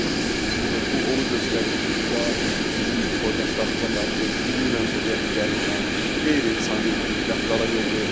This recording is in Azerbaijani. Artıq bu onu göstərir ki, burda bizim soydaşlarımıza qarşı milli mənsubiyyət üzərindən qeyri-insani rəftara yol verilib.